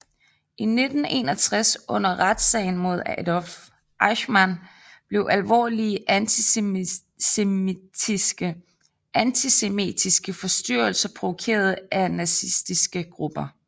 I 1961 under retssagen mod Adolf Eichmann blev alvorlige antisemitiske forstyrrelser provokeret af nazistiske grupper